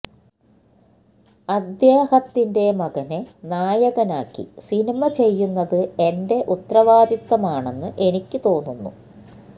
അദ്ദേഹത്തിന്റെ മകനെ നായകനാക്കി സിനിമ ചെയ്യുന്നത് എന്റെ ഉത്തരവാദിത്വമാണെന്ന് എനിക്ക് തോന്നുന്നു